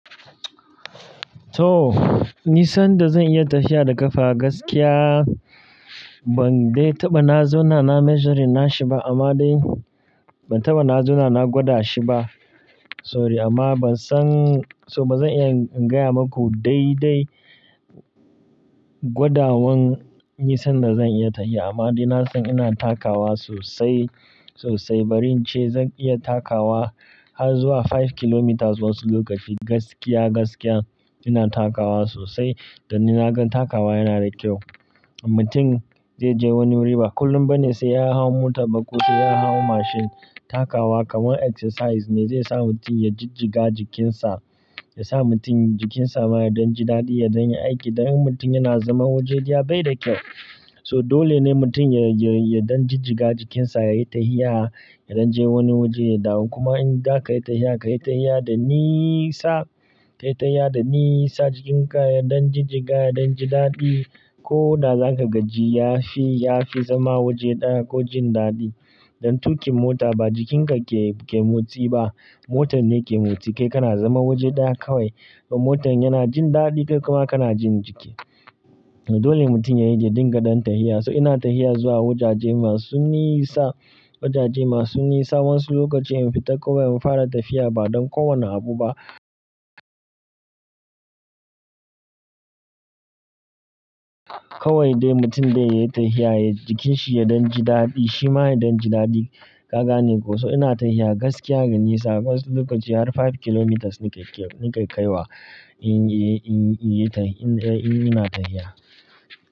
To, nisan da zan iya tafiya da kafa gaskiya, ban dai taɓa na zauna na measure na shi ba amma dai ban taɓa na zauna na gwada shi ba. Sorry amma ban san, so bazan iya in gaya maku daidai gwadawan nisan da zan iya tashiya amma dai na san ina takawa sosai, sosai. Bari in ce zan iya takawa har zuwa five kilometres wasu lokaci gaskiya, gaskiya ina takawa sosai. Da ni na gan takawa yana da kyau. Mutum zai je wani wuri ba kullum ba ne sai ya hau mota ba ko sai ya hau mashin. Bari in ce zan iya takawa har zuwa five kilometres wasu lokaci gaskiya, gaskiya ina takawa sosai. Dole ne mutum ya dan jijiga jikinsa yayi tahiya yaje wani waje ya dawo kuma inzaka yi tahiya da nisa kayi tahiya da nisa jikinka ya dan jijiga ya jijiga koda zaka gaji yafi zama waje daya ko jin dadi don takun mota ba jikinka ke motsi ba motan ke motsi kai kana zaune waje daya kawai motan yana jin dadi kai kuma kana jin jiki dole mutum ya dinga dan tahiya so ina tahiya zuwa wajaje masu nisa wajaje madu nisa wasu lokacin in fita kawai infara tafiya badan ko wane abu ba kowai dai mutum dai yayi tahiya jikinshi yaji dadi shima ya dan ji dadi kagane koh ina tafiya gaskiya mai nisa wainsu lokaci har five kilometres nike kaiwa indai in ina tahiya.